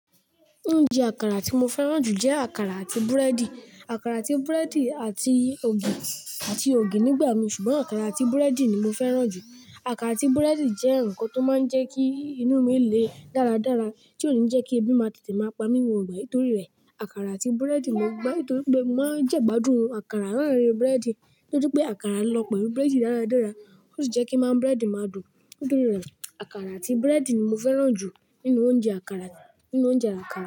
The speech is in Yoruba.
Oúnjẹ àkàrà tí mo fẹ́ràn jù jẹ́ àkàrà àti búrẹ́dì. Àkàrà àti búrẹ́dì àti ògì, àti ògì nígbà mí, ṣùgbọ́n àkàrà àti búrẹ́dì ni mo fẹ́ràn jù. Àkàrà àti búrẹ́dì jẹ́ ǹkan tó máa ń jẹ kí inú mí le dáradára, tí ò ń jẹ́ kí ebi máa tètè máa pa mí ní gbogbo ìgbà Nítorí rẹ̀, àkàrà àti búrẹ́dì mo gbá, nítorí pé mo máa ń jẹ ẹ̀ gbádùn. Àkàrà lárin búrẹ́dì, nítorí pé àkàrà lọ pẹ̀lú búrẹ́dì dáradára. Ó sì jẹ́ kí máa ń búrẹ́dì máa dùn. Nítorí rẹ̀, àkàrà àti búrẹ́dì ni mo fẹ́ràn jù nínú oúnjẹ àkàrà, nínú oúnjẹ àkàrà.